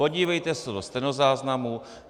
Podívejte se do stenozáznamu.